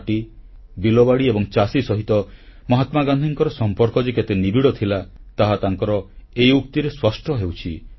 ମାଟି ବିଲବାଡ଼ି ଏବଂ ଚାଷୀ ସହିତ ମହାତ୍ମା ଗାନ୍ଧୀଙ୍କ ସମ୍ପର୍କ କେତେ ନିବିଡ଼ ଥିଲା ତାହା ତାଙ୍କର ଏହି ଉକ୍ତିରେ ସ୍ପଷ୍ଟ ହେଉଛି